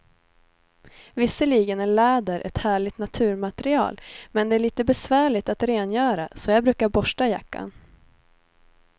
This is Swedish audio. Visserligen är läder ett härligt naturmaterial, men det är lite besvärligt att rengöra, så jag brukar borsta jackan.